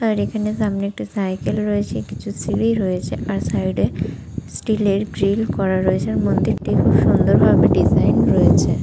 আর এখানে সামনে একটা সাইকেল রয়েছে কিছু সিঁড়ি রয়েছে আর সাইড এ ষ্টীল এর গ্রিল করা রয়েছে। মন্দিরটি খুব সুন্দর ভাবে ডিজাইন রয়েছে। -